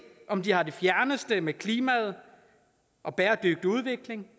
om de har det fjerneste med klimaet og bæredygtig udvikling